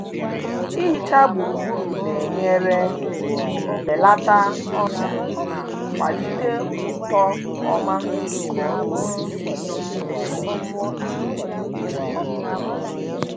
Ịhicha gburugburu na-enyere belata ọrịa ma kwalite uto ọma nke osisi